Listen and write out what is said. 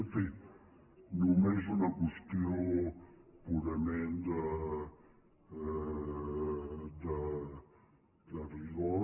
en fi només una qüestió purament de rigor